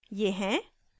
ये हैं;